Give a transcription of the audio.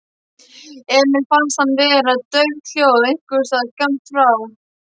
Emil fannst hann heyra dauft hljóð einhversstaðar skammt frá.